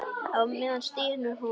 Á meðan stynur hún.